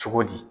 Cogo di